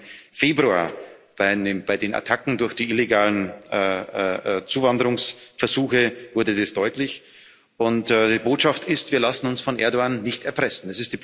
Gerade im Februar bei den Attacken durch die illegalen Zuwanderungsversuche wurde dies deutlich, und die Botschaft ist Wir lassen uns von Erdoğan nicht erpressen.